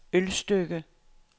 Ølstykke